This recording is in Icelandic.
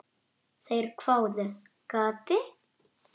Þeir hváðu: Gati?